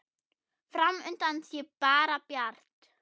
Fram undan sé bara bjart.